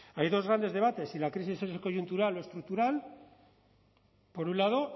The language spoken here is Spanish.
hay dos grandes debates si la crisis es coyuntural o estructural por un lado